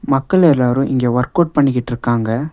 மக்கள் எல்லாரும் இங்கே வொர்க் அவுட் பண்ணிக்கிட்ருக்காங்க.